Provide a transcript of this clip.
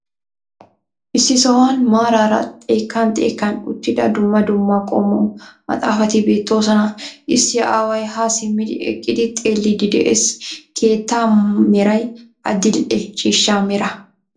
Issi sohuwan maaraara xekkan xekkan uttida dumma dumma qommo mafaafati beettoosona. Issi aaway ha simmi eqidi xeellidi de'ees. Keettaa meray adil"e ciishshaa mera.